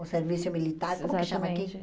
O serviço militar, como que chama aqui?